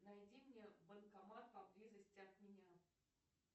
найди мне банкомат поблизости от меня